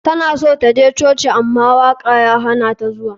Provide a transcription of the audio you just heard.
Tana so ta je coci ama waka ya hanata zuwa.